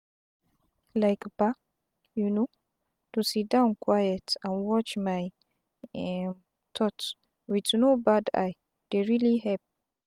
like bah um to siddon quiet and watch my um thoughts with no bad eye dey really help.